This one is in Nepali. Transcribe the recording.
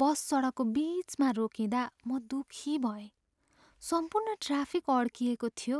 बस सडकको बिचमा रोकिँदा म दुखी भएँ। सम्पूर्ण ट्राफिक अड्किएको थियो।